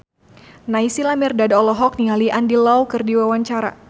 Naysila Mirdad olohok ningali Andy Lau keur diwawancara